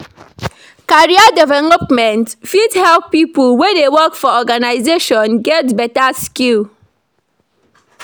Career development fit help pipo wey dey work for organisation get better skill